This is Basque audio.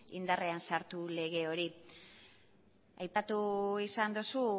indarrean sartu lege hori aipatu izan duzu